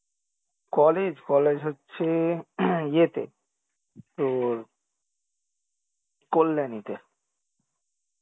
college? college হচ্ছে ইয়ে তে তোর কল্যাণীতে